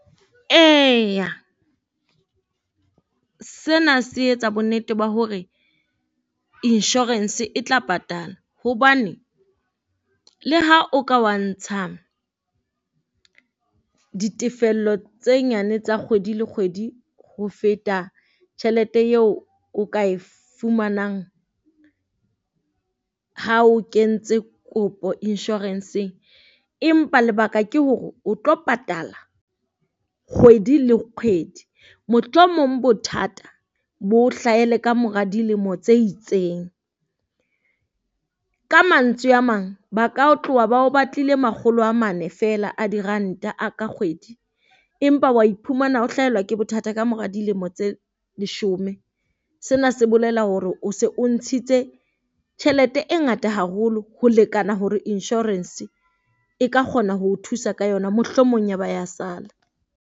Eya sena se etsa bonnete ba hore insurance e tla patala hobane le ha o ka wa ntsha ditefello tse nyane tsa kgwedi le kgwedi, ho feta tjhelete eo o ka e fumanang. Ha o kentse kopo insurance-ng, empa lebaka ke hore o tlo patala kgwedi le kgwedi. Mohlomong bothata bo o hlahele kamora dilemo tse itseng. Ka mantswe a mang, ba ka ho tloha bao batlile makgolo a mane feela a diranta ka kgwedi, empa wa iphumana o hlaelwa ke bothata kamora dilemo tse leshome. Sena se bolela hore o se o ntshitse tjhelete e ngata haholo ho lekana hore insurance e ka kgona ho o thusa ka yona. Mohlomong ya ba ya sala.